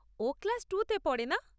ও class two তে পড়ে, না?